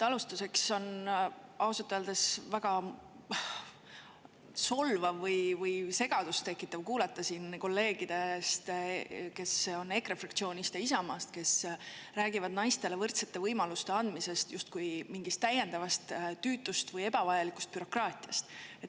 Alustuseks ütlen, ausalt öeldes on väga solvav või segadust tekitav kuulata siin kolleege EKRE fraktsioonist ja Isamaast, kes räägivad naistele võrdsete võimaluste andmisest justkui mingist täiendavast tüütust või ebavajalikust bürokraatiast.